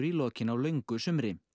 lokin á löngu sumri